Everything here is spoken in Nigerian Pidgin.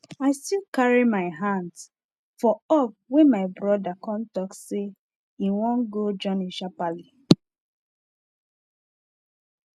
i still carry my hands for up wen my bros come talk say him wan go journey sharperly